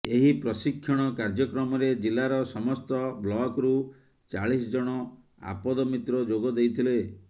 ଏହି ପ୍ରଶିକ୍ଷଣ କାର୍ଯ୍ୟକ୍ରମରେ ଜିଲ୍ଲାର ସମସ୍ତ ବ୍ଲକରୁ ଚାଳିଶ ଜଣ ଆପଦ ମିତ୍ର ଯୋଗ ଦେଇଥିଲେ